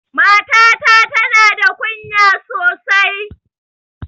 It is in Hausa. Mata ta tana da ƙunya sosai.